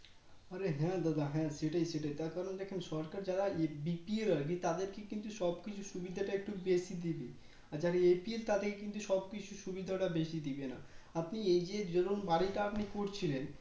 অরে হ্যাঁ দাদা হ্যাঁ সেটাই সেটাই তার কারন দেখেন সরকার যারা BPL আর কি তাদেরকে কিন্তু সবকিছু সুবিধাটা একটু বেশি দিয়ে দেয় আর যারা APL আর তাদেরকে কিন্তু সবকিছু সুবিধা বেশি না আপনি এই যে যেমন বাড়িটা আপনি করছিলেন